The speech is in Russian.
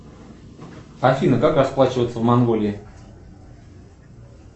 афина как расплачиваться в монголии